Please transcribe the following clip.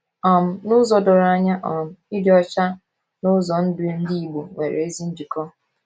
um N’ụzọ doro anya um, ịdị ọcha na ụzọ ndụ Ndị Igbo nwere ezi njikọ.